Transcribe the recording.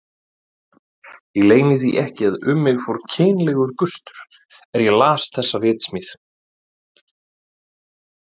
Ég leyni því ekki að um mig fór kynlegur gustur er ég las þessa ritsmíð.